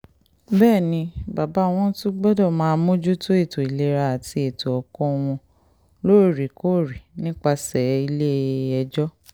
bẹ́ẹ̀ ni bàbá wọn tún gbọ́dọ̀ máa mójútó ètò ìlera àti ètò ẹ̀kọ́ wọn lóòrèkóòrè nípasẹ̀ ilé-ẹjọ́